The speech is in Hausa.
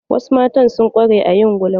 Wasu matan sun ƙware a yin gulma.